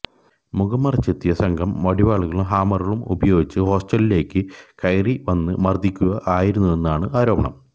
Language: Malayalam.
മുഖംമറച്ചെത്തിയ സംഘം വടികളും ഹാമറുമടക്കം ഉപയോഗിച്ച് ഹോസ്റ്റലുകളിലേക്ക് കയറി വന്ന് മർദിക്കുകയായിരുന്നുവെന്നാണ് ആരോപണം